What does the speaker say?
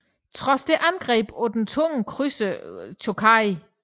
Trods det angreb den den tunge krydser Chōkai